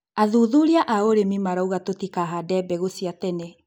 Athuthuria a ũrĩmi marauga tũtikahande mbegũ cia tene